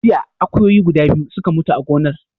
Jiya akuyoyi guda biyu suka mutu a gonar.